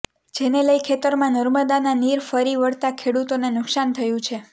જેને લઇ ખેતરમાં નર્મદાના નીર ફરી વળતા ખેડુતોને નુકશાન થયુ છે